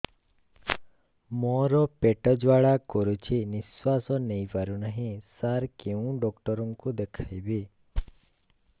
ମୋର ପେଟ ଜ୍ୱାଳା କରୁଛି ନିଶ୍ୱାସ ନେଇ ପାରୁନାହିଁ ସାର କେଉଁ ଡକ୍ଟର କୁ ଦେଖାଇବି